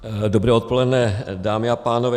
Dobré odpoledne, dámy a pánové.